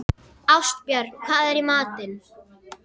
Ástbjörn, hvað er í matinn?